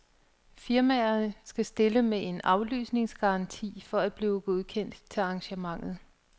Firmaerne skal stille med en aflysningsgaranti for at blive godkendt til arrangementet.